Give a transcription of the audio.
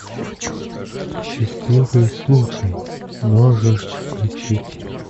счастливый случай можешь включить